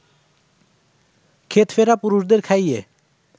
ক্ষেত ফেরা পুরুষদের খাইয়ে